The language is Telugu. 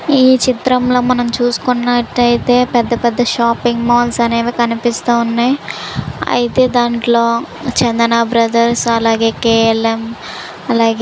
ఈ చిత్రంలో మనం చూసుకున్నట్లైతే పెద్ద -పెద్ద షాపింగ్ మాల్స్ అనేవి కనిపిస్తా ఉన్నాయి అయితే దాంట్లో చందన బ్రదర్స్ అలాగే కే_ఎల్_ఎం అలాగే.